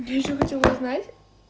и ещё хотела узнать